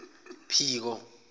phiko